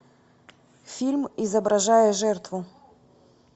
фильм изображая жертву